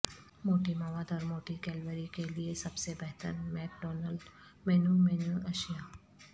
موٹی مواد اور موٹی کیلوری کے لئے سب سے بہتر میک ڈونلڈ مینو مینو اشیاء